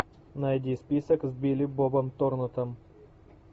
найди список с билли бобом торнтоном